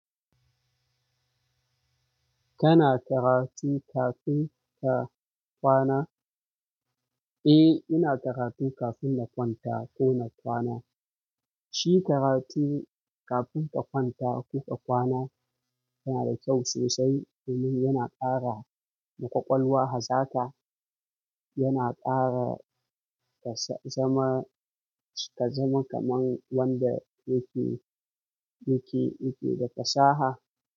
Kana karatu kafin ka kwana? Eh, ina karatu kafin na kwanta ko na kwana. Shi karatu kafin ka kwanta ko ka kwana yana da kyau sosai domin yana ƙara maƙwalwa hazaka. Yana ƙara ka zama, ka zama kaman wanda yake, yake, yake da fasaha.